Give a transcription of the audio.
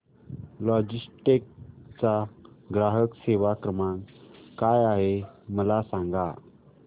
Logitech चा ग्राहक सेवा क्रमांक काय आहे मला सांगा